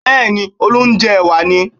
Bẹ́ẹ̀ni, Olú ń jẹ ẹ̀wà ni